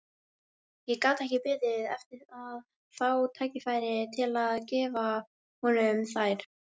Ég gat ekki beðið eftir að fá tækifæri til að gefa honum þær.